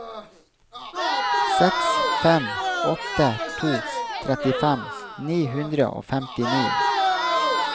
seks fem åtte to trettifem ni hundre og femtini